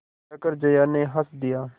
कहकर जया ने हँस दिया